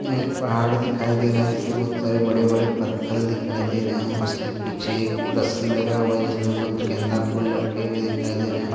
एक पहाड़ दिखाई दे रहा है जिसमें बहोत सारे बड़े बड़े पत्थल दिखाई दे रहे हैं उसके पीछे एक रस्सी लगा हुआ है जिसमें बहुत गेंदा फूल लटके हुए दिखाई दे रहे है।